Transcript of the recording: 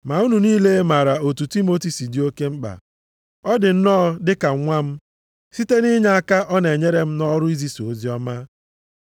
Ma unu niile maara otu Timoti si dị oke mkpa. Ọ dị nnọọ dị ka nwa m, site nʼinyeaka ọ na-enyere m nʼọrụ izisa oziọma.